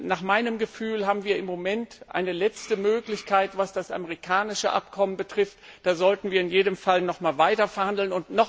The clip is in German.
Nach meinem Gefühl haben wir im Moment eine letzte Möglichkeit, was das amerikanische Abkommen betrifft, da sollten wir in jedem Fall noch weiterverhandeln.